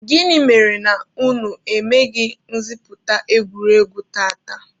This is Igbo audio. Gịnị mere na unu emeghị ngosipụta egwuregwu tata?